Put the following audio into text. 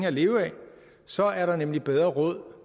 at leve af så er der nemlig bedre råd